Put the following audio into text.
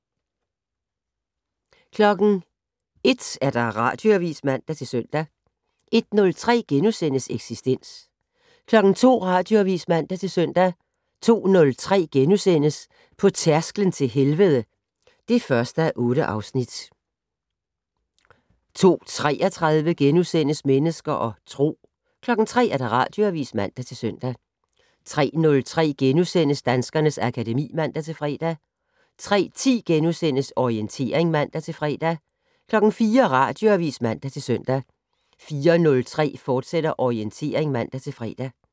01:00: Radioavis (man-søn) 01:03: Eksistens * 02:00: Radioavis (man-søn) 02:03: På tærsklen til helvede (1:8)* 02:33: Mennesker og Tro * 03:00: Radioavis (man-søn) 03:03: Danskernes akademi *(man-fre) 03:10: Orientering *(man-fre) 04:00: Radioavis (man-søn) 04:03: Orientering, fortsat (man-fre)